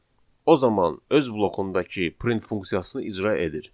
o zaman öz blokundakı print funksiyasını icra edir.